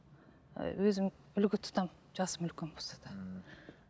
ііі өзім үлгі тұтамын жасым үлкен болса да ммм